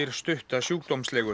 stutta